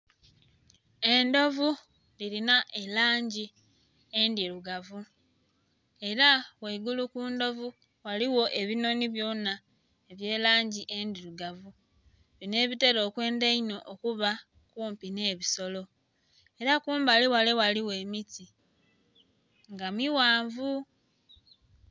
Endhovu dhilina elangi endhilugavu ela ghaigulu ku ndhovu ghaligho ebinoni byona eby'elangi endhilugavu, bino ebitera okwendha ino okuba okumpi n'ebisolo ela ku mbali wale ghaligho emiti nga miwanvu.